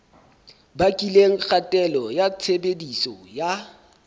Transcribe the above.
bakileng kgatello ya tshebediso ya